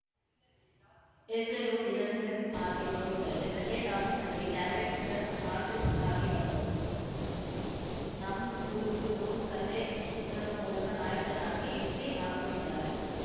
ಹೆಸರು ನಿರಂಜನ್‌ ಹಾಗೆ ನೋಡಿದರೆ ಸೆಕೆಂಡ್‌ ಹಾಫ್‌ನಲ್ಲಿ ಕ್ಯಾರೆಕ್ಟರ್‌ ಆರ್ಟಿಸಿಟ್ ಆಗಿ ಬಂದವರು ಸ್ ನಮ್‌ ಹುಡುಗ್ರು ಕಥೆ ಚಿತ್ರದ ಮೂಲಕ ನಾಯಕನಾಗಿ ಎಂಟ್ರಿ ಆಗುತ್ತಿದ್ದಾರೆ